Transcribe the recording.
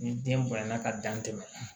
Ni den bonya na ka dan tɛmɛ